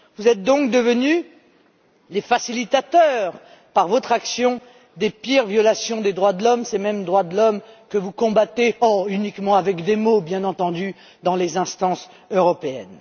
Vous êtes donc devenus les facilitateurs, par votre action, des pires violations des droits de l'homme, ces mêmes droits de l'homme que vous combattez oh, uniquement avec des mots, bien entendu dans les instances européennes.